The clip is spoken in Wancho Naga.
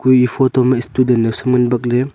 kuye e photo ma student dow Sam ngan baat ley.